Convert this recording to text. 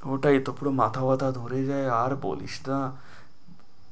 পুরোটাই তো পুরো মাথাটা ধরে যায় আর বলিস না,